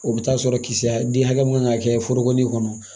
O bɛ taa sɔrɔ kisɛ den hakɛ mun kan ka kɛ foro ni kɔnɔ